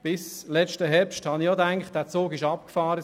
Bis letzten Herbst habe ich auch gedacht, dieser Zug sei abgefahren.